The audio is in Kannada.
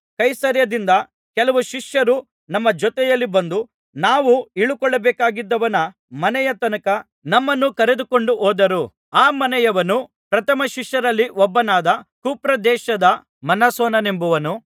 ಕೈಸರೈಯದಿಂದ ಕೆಲವು ಶಿಷ್ಯರು ನಮ್ಮ ಜೊತೆಯಲ್ಲಿ ಬಂದು ನಾವು ಇಳುಕೊಳ್ಳಬೇಕಾಗಿದ್ದವನ ಮನೆಯ ತನಕ ನಮ್ಮನ್ನು ಕರೆದುಕೊಂಡು ಹೋದರು ಆ ಮನೆಯವನು ಪ್ರಥಮ ಶಿಷ್ಯರಲ್ಲಿ ಒಬ್ಬನಾದ ಕುಪ್ರದೇಶದ ಮ್ನಾಸೋನನೆಂಬವನು